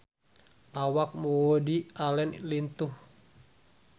Awak Woody Allen lintuh